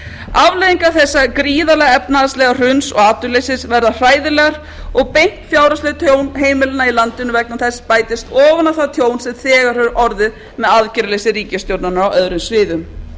afleiðingar þessa gríðarlega efnahagslega hruns og atvinnuleysis verða hræðilegar og beint fjárhagslegt tjón heimilanna í landinu vegna þess bætist ofan á það tjón sem þegar hefur orðið með aðgerðarleysi ríkisstjórnarinnar á öðrum sviðum